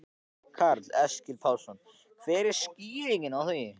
Karl Eskil Pálsson: Hver er skýringin á því?